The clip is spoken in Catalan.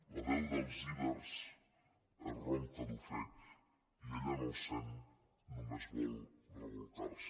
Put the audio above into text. la veu dels ibers és ronca d’ofec i ella no els sent només vol rebolcar se